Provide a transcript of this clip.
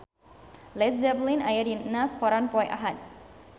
Led Zeppelin aya dina koran poe Ahad